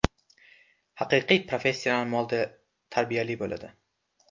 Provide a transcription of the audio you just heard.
Haqiqiy professional model tarbiyali bo‘ladi.